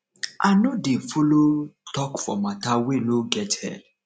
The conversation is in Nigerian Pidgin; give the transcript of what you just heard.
i no dey folo tok for mata wey no get head